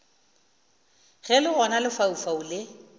ge le gona lefaufau le